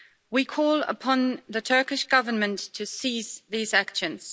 We call upon the Turkish Government to cease these actions.